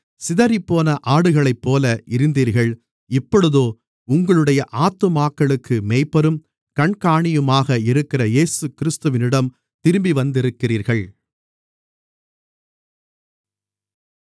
சிதறிப்போன ஆடுகளைப்போல இருந்தீர்கள் இப்பொழுதோ உங்களுடைய ஆத்துமாக்களுக்கு மேய்ப்பரும் கண்காணியுமாக இருக்கிற இயேசுகிறிஸ்துவிடம் திரும்பிவந்திருக்கிறீர்கள்